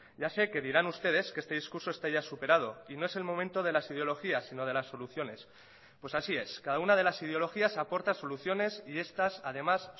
ya sé que dirán ustedes que este discurso está ya superado y no es el momento de las ideologías sino de las soluciones pues así es cada una de las ideologías aporta soluciones y estas además